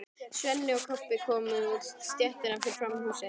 Svenni og Kobbi komu út á stéttina fyrir framan húsið.